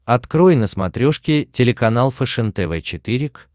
открой на смотрешке телеканал фэшен тв четыре к